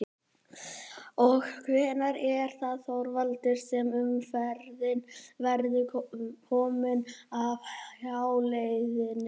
Og hvenær er það Þorvaldur sem að umferðin verður komin af hjáleiðinni?